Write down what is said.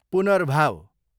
पुनर्भाव